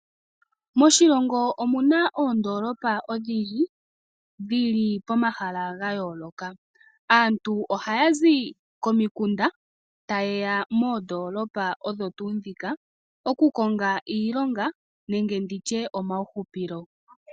Moshilongo omuna oondoolopa odhindji dhi li pomahala ga yoolokaaa. Aantu ohaya zi komikunda, ta yeya moondoolopa odho tuu dhika. Oku konga iilonga nenge nditye omawu hupilo.